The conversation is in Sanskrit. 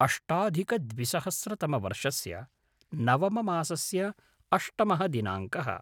अष्टाधिकद्विसहस्रतमवर्षस्य नवममासस्य अष्टमः दिनाङ्कः